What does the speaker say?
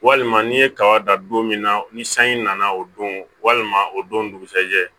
Walima ni ye kaba dan don min na ni sanji nana o don walima o don dugusɛjɛ